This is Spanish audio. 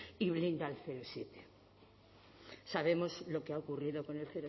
y blinda el siete sabemos lo que ha ocurrido con el